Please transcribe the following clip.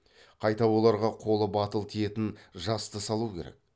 қайта оларға қолы батыл тиетін жасты салу керек